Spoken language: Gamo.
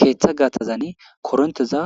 Keetha gaxazani korinththeza